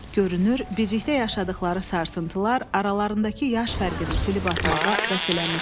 Görünür, birlikdə yaşadıqları sarsıntılar aralarındakı yaş fərqini silib atmağa vəs eləmişdi.